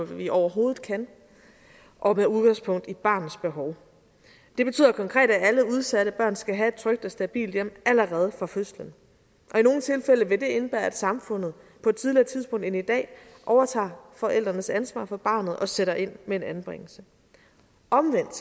vi overhovedet kan og med udgangspunkt i barnets behov det betyder konkret at alle udsatte børn skal have et trygt og stabilt hjem allerede fra fødslen i nogle tilfælde vil det indebære at samfundet på et tidligere tidspunkt end i dag overtager forældrenes ansvar for barnet og sætter ind med en anbringelse omvendt